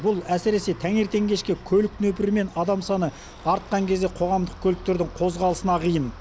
бұл әсіресе таңертең кешке көлік нөпірі мен адам саны артқан кезде қоғамдық көліктердің қозғалысына қиын